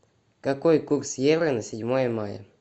какой курс евро на седьмое мая